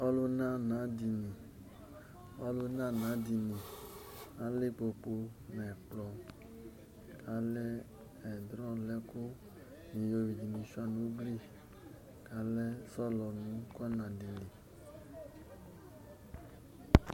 Olunana-dini Alɛ ikpokpu nʋ ɛkplɔ, alɛ ɛdrɔlɛ-ɛkʋ, iyoyʋi ni shʋa nʋ ugli, kʋ alɛ sɔlɔni nʋ kɔna di li